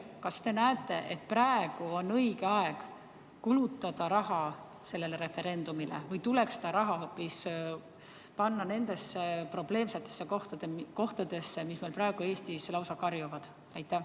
Kas te näete, et praegu on õige aeg kulutada raha sellele referendumile või tuleks seda raha panna hoopis nendesse probleemsetesse kohtadesse, mis meil praegu Eestis lausa karjuvad?